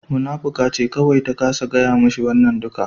Munafuka ce kawai ta kasa gaya mashi wannan duka